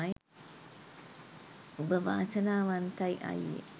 උඹ වාසනාවන්තයි අයියෙ